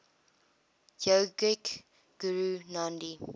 yogic guru nandhi